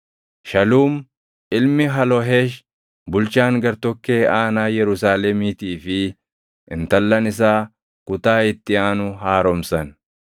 Shaluum ilmi Haloheesh bulchaan gartokkee aanaa Yerusaalemiitii fi intallan isaa kutaa itti aanu haaromsan.